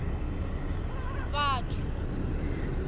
vhathu